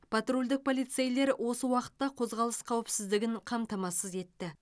патрульдік полицейлер осы уақытта қозғалыс қауіпсіздігін қамтамасыз етті